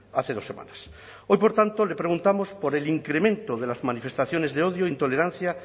hace dos semanas hoy por tanto le preguntamos por el incremento de las manifestaciones de odio e intolerancia